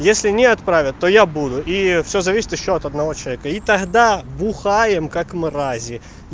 если не отправят то я буду и всё зависит ещё от одного человека и тогда бухаем как мрази